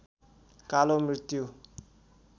कालो मृत्यु